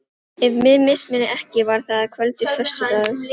Ef mig misminnir ekki, var það að kvöldi föstudags.